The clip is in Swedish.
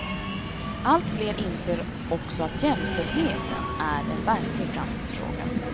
Allt fler inser också att jämställdheten är en verklig framtidsfråga.